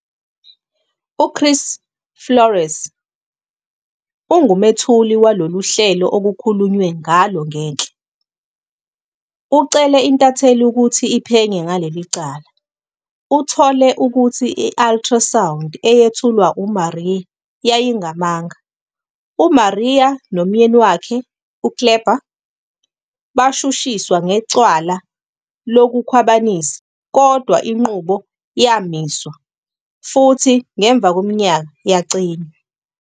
UChris Flores, ongumethuli walolu hlelo okukhulunywe ngalo ngenhla, ucele intatheli ukuthi iphenye ngaleli cala, ethole ukuthi i-ultrasound eyethulwa uMaria yayingamanga. UMaria nomyeni wakhe, uKléber, bashushiswa ngecala lokukhwabanisa, kodwa inqubo yamiswa, futhi ngemva kweminyaka, yacinywa.